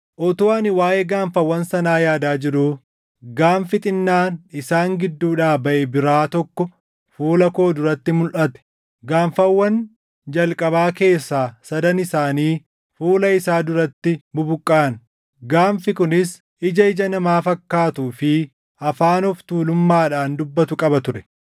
“Utuu ani waaʼee gaanfawwan sanaa yaadaa jiruu gaanfi xinnaan isaan gidduudhaa baʼe biraa tokko fuula koo duratti mulʼate; gaanfawwan jalqabaa keessaa sadan isaanii fuula isaa duratti bubuqqaʼan. Gaanfi kunis ija ija namaa fakkaatuu fi afaan of tuulummaadhaan dubbatu qaba ture.